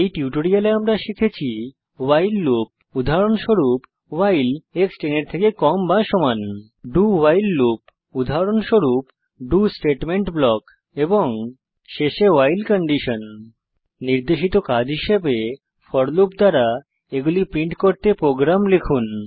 এই টিউটোরিয়ালে আমরা শিখেছি ভাইল লুপ উদাহরণস্বরূপ ভাইল dowhile লুপ উদাহরণস্বরূপ ডো স্টেটমেন্ট ব্লক এবং শেষে ভাইল কন্ডিশন নির্দেশিত কাজ হিসাবে ফোর লুপস দ্বারা এগুলি প্রিন্ট করতে প্রোগ্রাম লিখুন